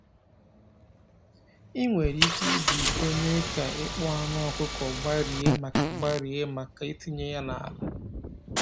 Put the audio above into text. Ị nwere ike iji iko mee ka ịkpụ anụ ọkụkọ gbarie maka gbarie maka itinye ya n’ala.